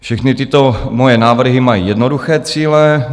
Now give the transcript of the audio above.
Všechny tyto moje návrhy mají jednoduché cíle.